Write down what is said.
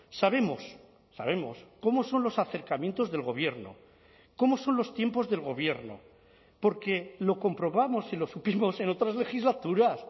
sabemos sabemos cómo son los acercamientos del gobierno cómo son los tiempos del gobierno porque lo comprobamos y lo supimos en otras legislaturas